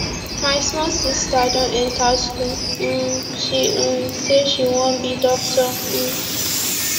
my small sister don enta school um she um sey she wan be doctor um